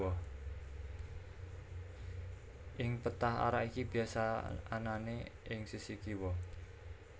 Ing peta arah iki biasa anane ing sisi kiwa